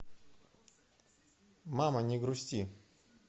мама не грусти